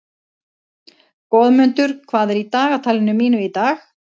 Goðmundur, hvað er í dagatalinu mínu í dag?